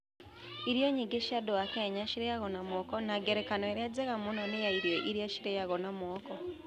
Irio nyingĩ cia andũ a Kenya ciarĩaga na moko, na ngerekano ĩrĩa njega mũno nĩ ya irio iria ciaragio na moko.